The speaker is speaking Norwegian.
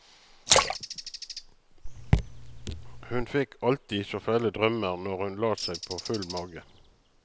Hun fikk alltid så fæle drømmer når hun la seg på full mage.